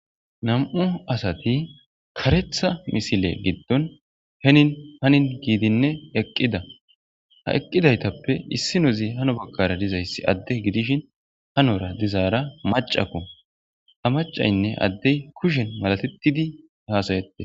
Nam7u asati karetha misile giddon henin hanin giidinne eqqida ha eqqidaytappe issinozi hano baggara dizayssi adde gidishin hanora dizaara macako ha macaynne addey kushen malatettidi hasayette.